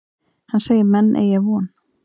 Hann segir menn eygja von.